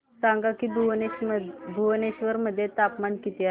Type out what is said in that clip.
सांगा की भुवनेश्वर मध्ये तापमान किती आहे